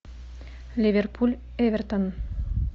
ливерпуль эвертон